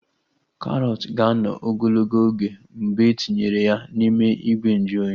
Karọt ga-anọ ogologo oge mgbe etinyere ya n'ime ìgwè nju oyi